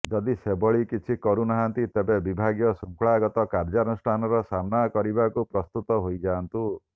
ଯଦି ସେଭଳି କିଛି କରୁନାହାନ୍ତି ତେବେ ବିଭାଗୀୟ ଶୃଙ୍ଖଳାଗତ କାର୍ଯ୍ୟାନୁଷ୍ଠାନର ସାମ୍ନା କରିବାକୁ ପ୍ରସ୍ତୁତ ହୋଇଯାଆନ୍ତୁ